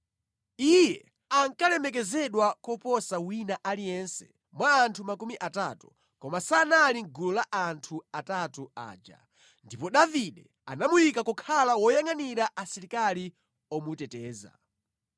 Iye ankalemekezedwa kuposa wina aliyense mwa anthu makumi atatu, koma sanali mʼgulu la anthu atatu aja. Ndipo Davide anamuyika kukhala woyangʼanira asilikali omuteteza.